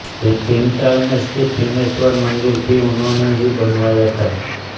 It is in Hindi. भीमताल में स्थित भीमेश्वर मंदिर भी उन्होंने ही बनवाया था